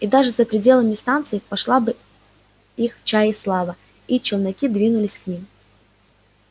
и даже за пределами станции пошла бы их чае слава и челноки двинулись к ним